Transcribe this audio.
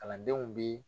Kalandenw bi